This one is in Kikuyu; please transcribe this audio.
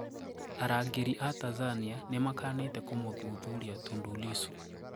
Arangeri aa Tanzania nimakanete kũmũthuthuria Tundu Lissu.